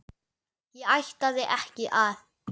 Ég ætlaði ekki að.